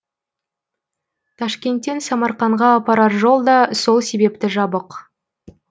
ташкенттен самарқанға апарар жол да сол себепті жабық